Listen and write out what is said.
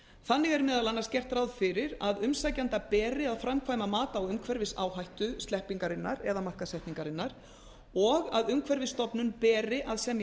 þannig er meðal annars gert ráð fyrir að umsækjanda beri að framkvæma mat á umhverfisáhættu sleppingarinnar eða markaðssetningarinnar og að umhverfisstofnun beri að semja